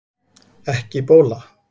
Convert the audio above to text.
Ekki bóla